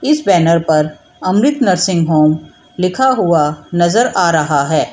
इस बैनर पर Amrit nursing home लिखा हुआ नजर आ रहा है।